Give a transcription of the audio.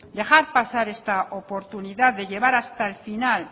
dejar pasar esta oportunidad de llevar hasta el final